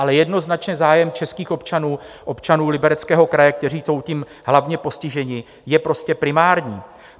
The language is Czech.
Ale jednoznačně zájem českých občanů, občanů Libereckého kraje, kteří jsou tím hlavně postiženi, je prostě primární.